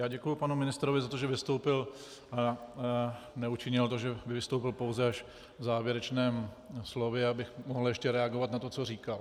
Já děkuji panu ministrovi za to, že vystoupil - neučinil to, že by vystoupil pouze až v závěrečném slově, abych mohl ještě reagovat na to, co říkal.